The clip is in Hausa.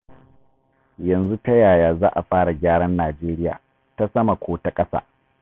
Yanzu ta yaya za a fara gyaran Najeriya, ta sama ko ta ƙasa?